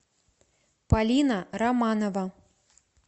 полина романова